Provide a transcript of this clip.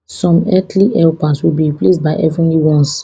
some earthly helpers will be replaced by heavenly ones